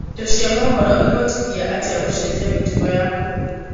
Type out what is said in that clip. Indo cia mohoro ĩvotĩthĩtĩa atĩa gucenjia mĩtugo yaku?